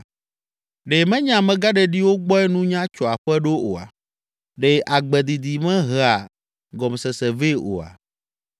Ɖe menye amegãɖeɖiwo gbɔe nunya tso aƒe ɖo oa? Ɖe agbe didi mehea gɔmesese vɛ oa?